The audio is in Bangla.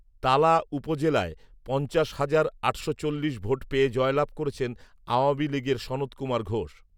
তালা উপজেলায় পঞ্চাশ হাজার আটশো চল্লিশ ভোট পেয়ে জয়লাভ করেছেন আওয়ামী লীগের সনৎ কুমার ঘোষ